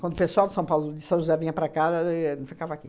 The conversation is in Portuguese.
Quando o pessoal de São Paulo, de São José, vinha para cá, e ficava aqui.